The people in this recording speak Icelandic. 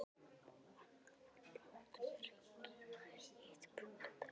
Annað var blátt með hring í, hitt brúnt og dökkt.